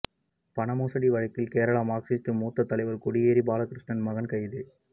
பண மோசடி வழக்கில் கேரள மாா்க்சிஸ்ட் மூத்த தலைவா் கொடியேறி பாலகிருஷ்ணன் மகன் கைது